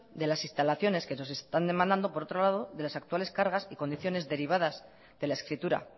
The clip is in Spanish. de las instalaciones que nos están demandando por otro lado de las actuales cargar y condiciones derivadas de la escritura